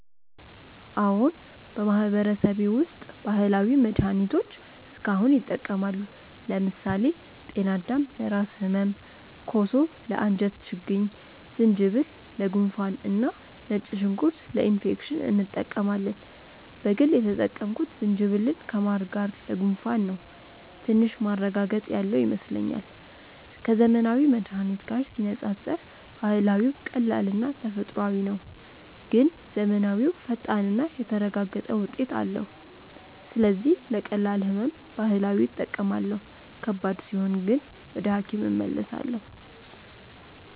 አዎን፣ በማህበረሰቤ ውስጥ ባህላዊ መድሃኒቶች እስካሁን ይጠቀማሉ። ለምሳሌ ጤናዳም ለራስ ህመም፣ ኮሶ ለአንጀት ችግኝ፣ ዝንጅብል ለጉንፋን እና ነጭ ሽንኩርት ለኢንፌክሽን እንጠቀማለን። በግል የተጠቀምኩት ዝንጅብልን ከማር ጋር ለጉንፋን ነው፤ ትንሽ ማረጋገጥ ያለው ይመስለኛል። ከዘመናዊ መድሃኒት ጋር ሲነጻጸር ባህላዊው ቀላልና ተፈጥሯዊ ነው፣ ግን ዘመናዊው ፈጣንና የተረጋገጠ ውጤት አለው። ስለዚህ ለቀላል ህመም ባህላዊ እጠቀማለሁ፣ ከባድ ሲሆን ግን ወደ ሐኪም እመለሳለሁ።